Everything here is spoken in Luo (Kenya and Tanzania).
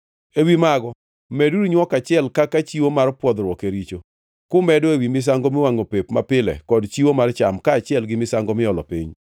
Ewi mago meduru nywok achiel kaka chiwo mar pwodhruok e richo, kumedo ewi misango miwangʼo pep mapile kod chiwo mar cham, kaachiel gi misango miolo piny.